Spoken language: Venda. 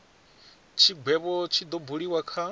tshigwevho tshi do buliwa kha